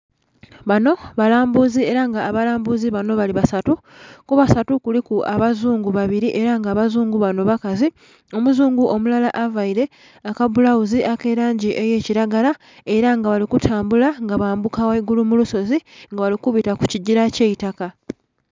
Banho balambuzi, era nga abalambuzi banho bali basatu, kubasatu kuliku abazungu babili era abazungu banho bakazi. Omuzungu omulala aveile akabbulaghuzi akalangi eya kilagala era nga bali kutambula nga bambuka ghaigulu kulusozi nga bali kubita kukigila ekyeitaka.